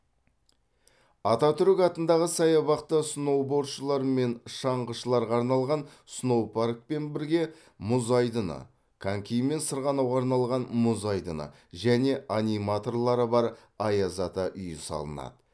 ататүрік атындағы саябақта сноубордшылар мен шаңғышыларға арналған сноупаркпен бірге мұз айдыны конькимен сырғанауға арналған мұз айдыны және аниматорлары бар аяз ата үйі салынады